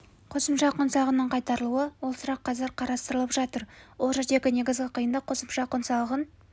қосымша құн салығының қайтарылуы ол сұрақ қазір қарастырылып жатыр ол жердегі негізгі қиындық қосымша құн салығын